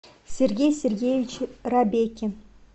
сергей сергеевич рабекин